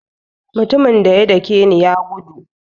Mutumin daya dake ni ya gudu.